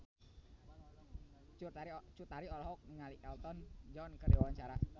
Cut Tari olohok ningali Elton John keur diwawancara